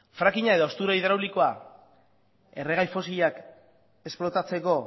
fracking a edo haustura hidraulikoa erregai fosilak esplotatzeko